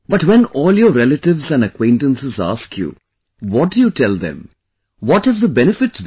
But when all your relatives and acquaintances ask you, what do you tell them, what have the benefits been